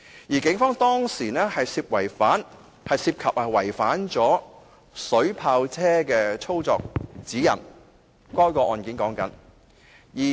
在這宗案件中，警方涉及違反水炮車的操作指引。